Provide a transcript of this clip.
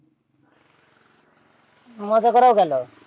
মজা করাও গেলো।